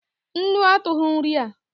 Nnu atughi nri a